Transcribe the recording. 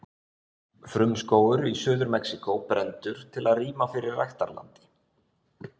Frumskógur í Suður-Mexíkó brenndur til að rýma fyrir ræktarlandi.